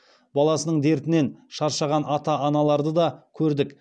баласының дертінен шаршаған ата аналарды да көрдік